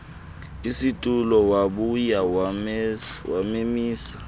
situlo wabuya wamemisa